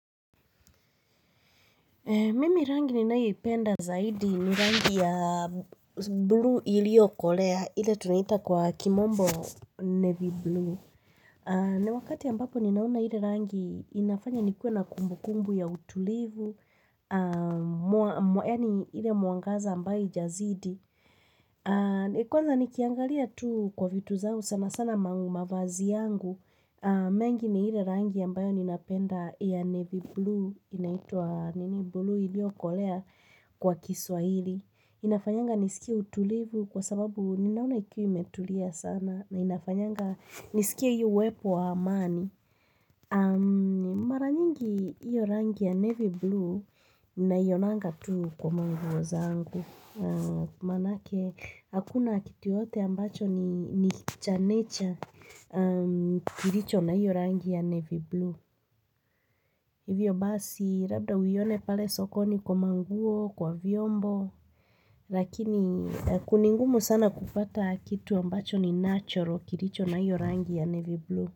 Mimi rangi ni nayoipenda zaidi ni rangi ya blue iliyokolea ile tunaita kwa kimombo navy blue. Na wakati ambapo ninaona ile rangi inafanya nikuwe na kumbu kumbu ya utulivu, yaani ile mwangaza ambayo haijazidi. Kwanza nikiangalia tu kwa vitu zangu sana sana ma mavazi yangu. Mengi ni ile rangi ambayo ninapenda ya navy blue inaitwa nini blue iliyokolea kwa kiswahili. Inafanyanga nisikia utulivu kwa sababu ninaona ikiwa imetulia sana na inafanyanga nisikia hiyo uwepo wa amani Maranyingi hiyo rangi ya navy blue Ninaionanga tu kwa manguo zangu Manake, hakuna kitu yoyote ambacho ni chanecha kilicho na hiyo rangi ya navy blue Hivyo basi, labda uione pale sokoni kwa manguo, kwa vyombo Lakini, ni ngumu sana kupata kitu ambacho ni natural kilicho na hiyo rangi ya navy blue.